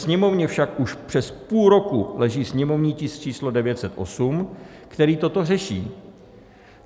Sněmovně však už přes půl roku leží sněmovní tisk číslo 908, který toto řeší.